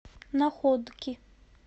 находки